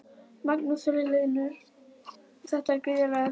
Magnús Hlynur: Þetta er gríðarlegur peningur?